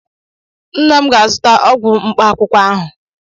nna m ga-azụta ọgwụ mkpaakwụkwọ ahụ